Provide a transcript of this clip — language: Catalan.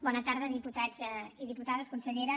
bona tarda diputats i diputades consellera